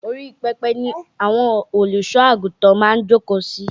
Orí pẹpẹ ni àwọn Olùsọ́ àgùntàn máa ń jókòó si